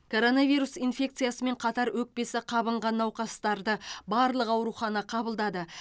коронавирус инфекциясымен қатар өкпесі қабынған науқастарды барлық аурухана қабылдады